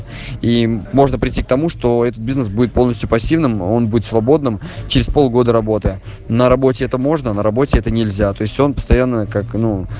и можно прийти к тому что этот бизнес будет полностью пассивным он будет свободным через полгода работы на работе это можно на работе это нельзя то есть он постоянно как ну